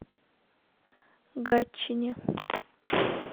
гатчине